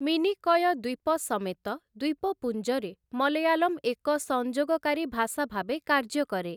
ମିନିକୟ ଦ୍ୱୀପ ସମେତ, ଦ୍ୱୀପପୁଞ୍ଜରେ ମଲୟାଲମ ଏକ ସଂଯୋଗକାରୀ ଭାଷା ଭାବେ କାର୍ଯ୍ୟ କରେ ।